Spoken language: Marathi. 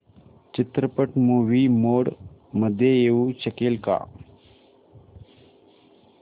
चित्रपट मूवी मोड मध्ये येऊ शकेल का